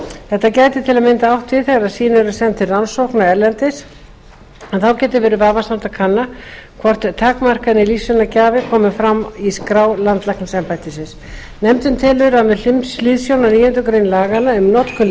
þetta gæti til að mynda átt við þegar sýni eru send til rannsókna erlendis en þá getur verið vafasamt að kanna hvort takmarkanir lífsýnagjafa komi fram í skrá landlæknisembættisins nefndin telur með hliðsjón af níundu grein laganna um notkun